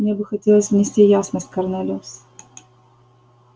мне бы хотелось внести ясность корнелиус